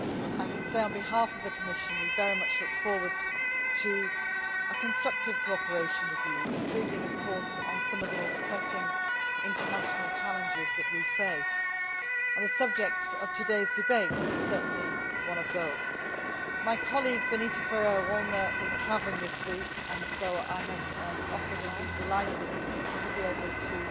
I can say, on behalf of the Commission, that we very much look forward to a constructive cooperation with you, including of course on some of the most pressing international challenges that we face, and the subject of today's debate is certainly one of those. My colleague Benita Ferrero Waldner is travelling this week and so I have offered and have been delighted to be able to